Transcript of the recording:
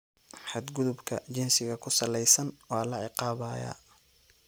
Xadgudubka jinsiga ku salaysan waa la ciqaabaya.